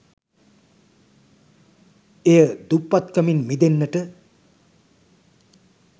එය දුප්පත්කමින් මිදෙන්නට